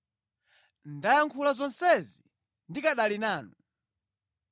“Ndayankhula zonsezi ndikanali nanu.